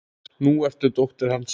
Nú ertu dóttir hans.